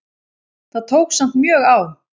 Það tók samt mjög á.